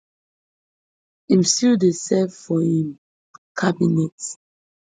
im still dey serve for im cabinet